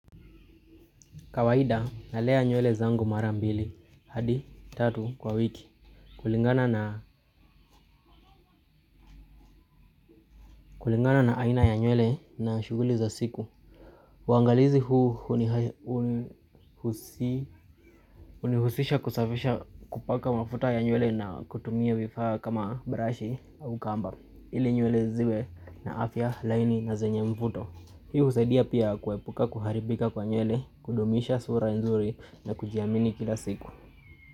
Kawaida nalea nywele zangu mara mbili, hadi, tatu kwa wiki. Kulingana na aina ya nywele na shughuli za siku. Uangalizi huu hunihusisha kusafisha kupaka wafuta ya nywele na kutumia vifaa kama brush au kamba. Ili nywele ziwe na afya laini na zenye mvuto. Hii husaidia pia kuepuka kuharibika kwa nywele, kudumisha sura nzuri na kujiamini kila siku.